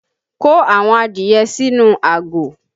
Kó àwọn adìye sínú àgò!